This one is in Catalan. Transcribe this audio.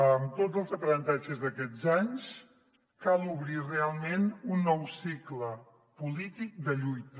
amb tots els aprenentatges d’aquests anys cal obrir realment un nou cicle polític de lluita